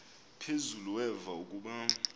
phezulu weva ukuba